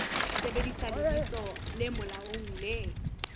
sebedisa lebitso le molaong le